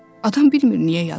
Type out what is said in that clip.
Adam bilmir niyə yazır.